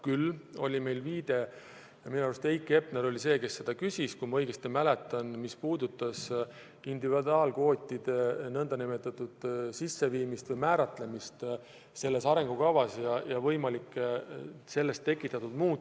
Küll oli meil jutuks – minu arust Heiki Hepner oli see, kes seda küsis, kui ma õigesti mäletan –individuaalkvootide sisseviimine või määratlemine selles arengukavas ja võimalik sellest tekkiv mõju.